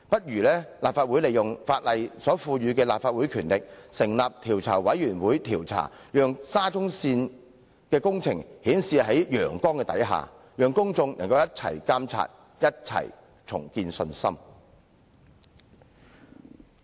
因此，立法會應行使法例賦予的權力，成立調查委員會調查，讓沙中線工程可以顯示在陽光下，讓公眾可以共同監督、共同重建信心。